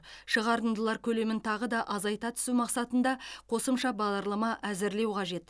шығарындылар көлемін тағы да азайта түсу мақсатында қосымша бағдарлама әзірлеу қажет